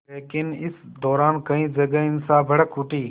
लेकिन इस दौरान कई जगह हिंसा भड़क उठी